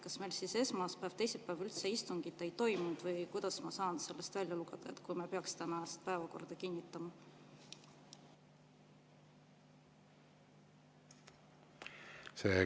Kas meil siis esmaspäev ja teisipäev üldse istungit ei toimunud või mida ma saan sellest välja lugeda, juhul kui me peaks tänase päevakorra kinnitama?